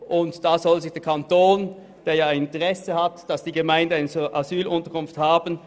Und diese soll der Kanton auch mitfinanzieren, denn er hat ja ein Interesse daran, dass die Gemeinden eine Asylunterkunft haben.